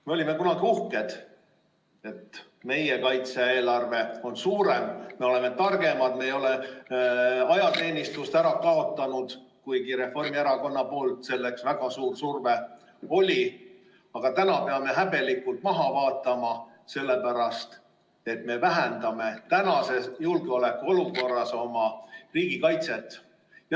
Me olime kunagi uhked, et meie kaitse-eelarve on suurem, me oleme targemad, me ei ole ajateenistust ära kaotanud, kuigi Reformierakonna poolt oli selleks väga suur surve, aga täna peame häbelikult maha vaatama, sellepärast et me vähendame tänases julgeolekuolukorras oma riigikaitse.